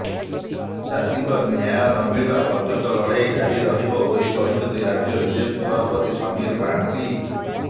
ଚାଷୀଙ୍କ ନ୍ୟାୟ ନମିଳିବା ପର୍ଯ୍ୟନ୍ତ ଲଢ଼େଇ ଜାରି ରହିବ ବୋଲି କହିଛନ୍ତି ରାଜ୍ୟ ବିଜେପି ସଭାପତି ସମୀର ମହାନ୍ତି